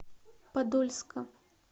подольска